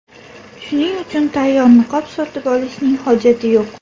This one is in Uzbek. Shuning uchun tayyor niqob sotib olishning hojati yo‘q.